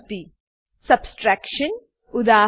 Subtraction subtraction ઉદા